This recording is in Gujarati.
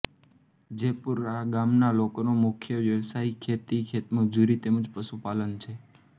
જેપુરા ગામના લોકોનો મુખ્ય વ્યવસાય ખેતી ખેતમજૂરી તેમ જ પશુપાલન છે